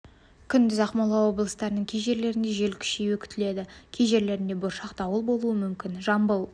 күндіз ақмола облыстарының кей жерінде жел күшеюі күтіледі кей жерлерінде бұршақ дауыл болуы мүмкін жамбыл